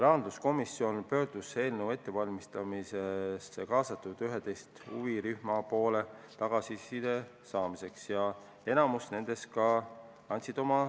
Rahanduskomisjon pöördus tagasiside saamiseks eelnõu ettevalmistamisse kaasatud 11 huvirühma poole ja enamik neist tagasisidet ka andsid.